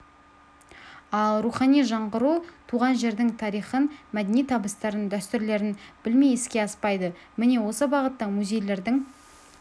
ал рухани жаңғыру туған жердің тарихын мәдени табыстарын дәстүрлерін білмей іске аспайды міне осы бағытта музейлердің